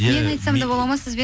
мен айтсам да болады ма сізбен